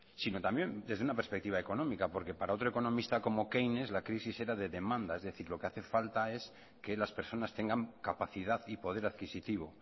sino también desde una perspectiva económica porque para que otra economista como keynes la crisis era de demanda es decir lo que hace falta es que las personas tengan capacidad y poder adquisitivo